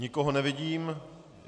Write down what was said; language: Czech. Nikoho nevidím.